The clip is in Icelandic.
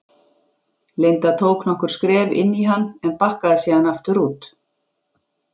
Linda tók nokkur skref inn í hann en bakkaði síðan aftur út.